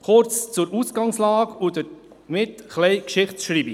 Kurz zur Ausgangslage und somit ein wenig zur Geschichtsschreibung.